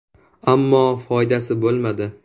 Ammo, foydasi bo‘lmadi.